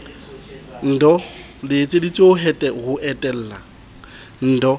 ndoh le etseditswe ho etella